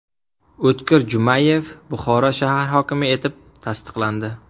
O‘tkir Jumayev Buxoro shahar hokimi etib tasdiqlandi.